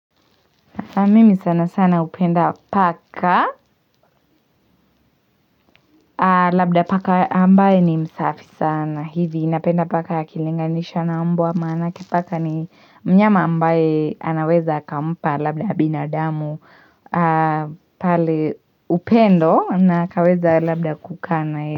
Na mimi sana sana upenda paka labda paka ambaye ni msafi sana hivi napenda paka akilinganisha na mbwa maanake paka ni mnyama ambaye anaweza akampa labda binadamu pale upendo na kaweza labda kuka naye.